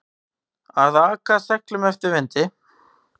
Að aka seglum eftir vindi